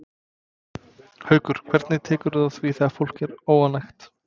Haukur: Hvernig tekurðu á því þegar fólk er óánægt?